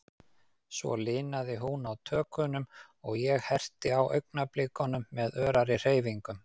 Svo linaði hún á tökunum, og ég herti á augnablikunum með örari hreyfingum.